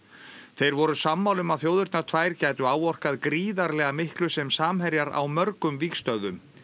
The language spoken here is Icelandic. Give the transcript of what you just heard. þeir voru sammála um að þjóðirnar tvær gætu áorkað gríðarlega miklu sem samherjar á mörgum vígstöðvum